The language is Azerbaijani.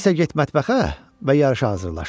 İndisə get mətbəxə və yarışa hazırlaş.